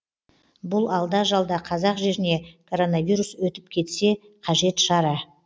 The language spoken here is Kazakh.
бұл алда жалда қазақ жеріне коронавирус өтіп кетсе қажет шара